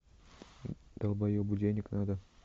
долбоебу денег надо